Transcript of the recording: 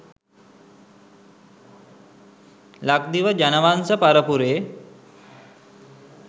ලක්දිව ජනවංශ පරපුරේ